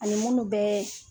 Ani minnu bɛ